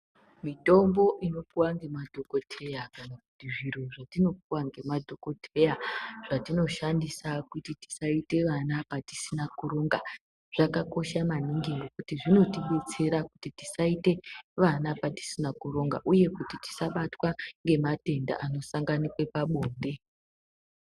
Mitombo inopuwa ngema dhokodheya kana kuti zviro zvetino puwa ngema dhokodheya, zvatino shandisa kuti tisaite vana patisina kuronga, zvakakosha maningi ngekuti zvinoti betsera kuti tisaite vana patisina kuronga uye kuti tisa batwa ngematenda ano sanganikwe pabonde.